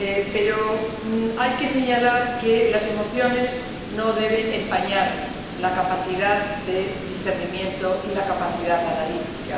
Pero hay que señalar que las emociones no deben empañar la capacidad de discernimiento ni la capacidad analítica.